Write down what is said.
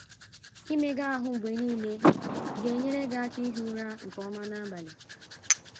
Imega ahụ mgbe nile ga - enyere gị aka ihi ụra nke ọma n’abalị.